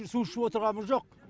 су ішіп отырғанымыз жоқ